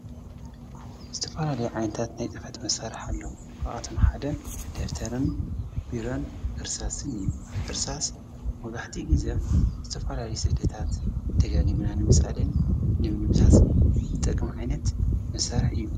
ዝተፈላለዩ ዓይንታት ናይ ፅሕፈት መሣርሕ ኣለዉ ካብኣቶም ሓደ ደፍተርን ቢሮን ዕርሳስን እዩ ዕርሳስ መብዛሕቲኡ ጊዜ ዝተተፋላለዩ ስእልታት ደጋጊምና ንምስኣልን ንምድምሳስን ዝጠቕም ዓይነት መሣርሕ እዩ።